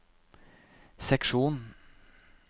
seksjon